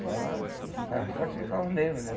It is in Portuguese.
Só ah estava forte sem carro mesmo, né?